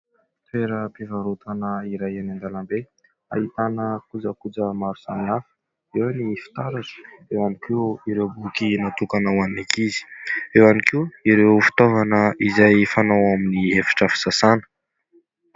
Toeram-pivarotana iray eny an-dalambe ahitana kojakoja maro samihafa. Eo ny fitaratra, eo ihany koa ireo boky natokana ho any ankizy, eo ihany koa ireo fitaovana izay fanao ao amin'ny efitra fisasana.